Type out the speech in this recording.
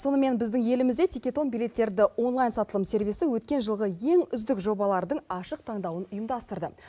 сонымен біздің елімізде тикетон билеттерді онлайн сатылым сервисі өткен жылғы ең үздік жобалардың ашық таңдауын ұйымдастырды